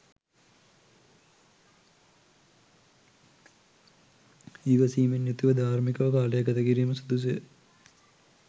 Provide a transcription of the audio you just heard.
ඉවසීමෙන් යුතුව ධාර්මිකව කාලය ගත කිරීම සුදුසුය